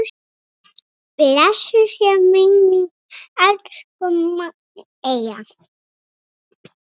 Blessuð sé minning elsku Magneu.